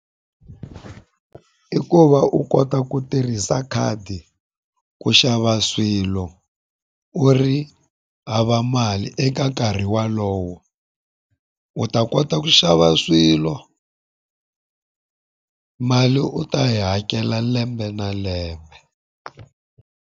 I ku va u kota ku tirhisa khadi ku xava swilo u ri hava mali eka nkarhi walowo. U ta kota ku xava swilo mali u ta yi hakela lembe na lembe.